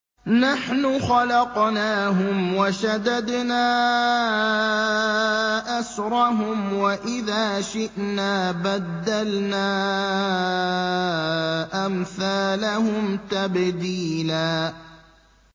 نَّحْنُ خَلَقْنَاهُمْ وَشَدَدْنَا أَسْرَهُمْ ۖ وَإِذَا شِئْنَا بَدَّلْنَا أَمْثَالَهُمْ تَبْدِيلًا